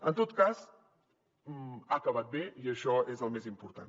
en tot cas ha acabat bé i això és el més important